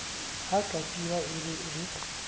ha katiba e le e